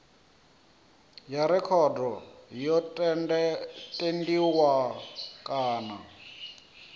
ya rekhodo yo tendiwa kana